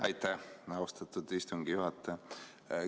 Aitäh, austatud istungi juhataja!